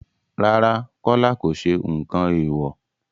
Rárá, Kọ́lá kò sẹ nǹkan èèwò.